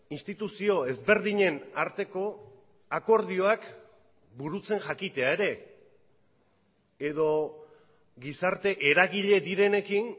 instituzio ezberdinen arteko akordioak burutzen jakitea ere edo gizarte eragile direnekin